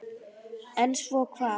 En svo hvað?